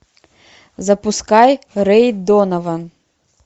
запускай рэй донован